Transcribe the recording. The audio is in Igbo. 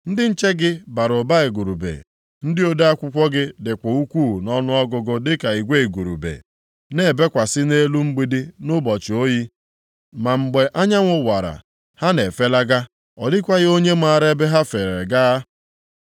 Ndị nche gị bara ụba igurube, ndị ode akwụkwọ gị dịkwa ukwuu nʼọnụọgụgụ dịka igwe igurube na-ebekwasị nʼelu mgbidi nʼụbọchị oyi. Ma mgbe anyanwụ wara, ha na-efelaga; ọ dịkwaghị onye maara ebe ha feere gaa.